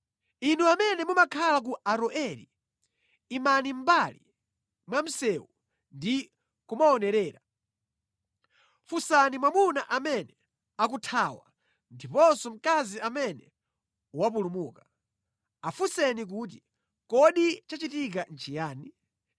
Inu amene mumakhala ku Aroeri, imani mʼmbali mwa msewu ndi kumaonerera. Funsani mwamuna amene akuthawa ndiponso mkazi amene wapulumuka, afunseni kuti, ‘Kodi chachitika nʼchiyani?’ ”